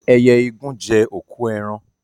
Ẹyẹ igún jẹ́ òkú eran